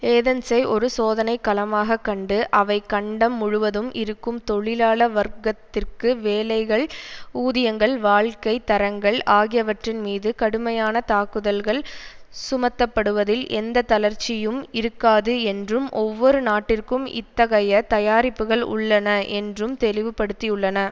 ஏதென்ஸை ஒரு சோதனை களமாக கண்டு அவை கண்டம் முழுவதும் இருக்கும் தொழிலாள வர்க்கத்திற்கு வேலைகள் ஊதியங்கள் வாழ்க்கை தரங்கள் ஆகியவற்றின்மீது கடுமையான தாக்குதல்கள் சுமத்தப்படுவதில் எந்த தளர்ச்சியும் இருக்காது என்றும் ஒவ்வொரு நாட்டிற்கும் இத்தகைய தயாரிப்புக்கள் உள்ளன என்றும் தெளிவுபடுத்தியுள்ளன